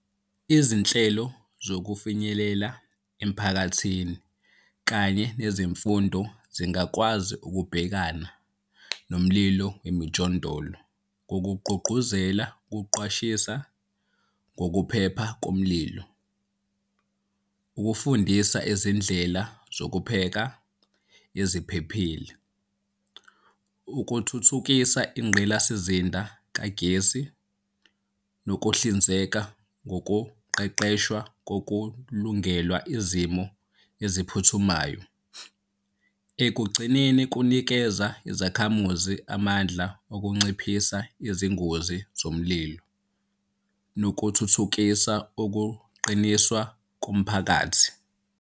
Izinhlelo zokufinyelela emphakathini kanye nezemfundo zingakwazi ukubhekana nomlilo wemijondolo ngokugqugquzela ukuqwashisa ngokuphepha kunomlilo. Ukufundisa izindlela zokupheka eziphephile, ukuthuthukisa ingqilasizinda kagesi nokuhlinzeka ngokuqeqeshwa kokulungela izimo eziphuthumayo. Ekugcineni kunikeza izakhamuzi amandla okunciphisa izingozi zomlilo nokuthuthukisa ukuqiniswa komphakathi.